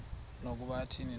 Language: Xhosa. nokuba athini na